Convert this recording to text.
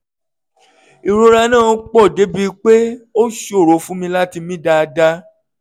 ìrora náà pọ̀ débi pé ó ṣòro fún mi láti mí dáadáa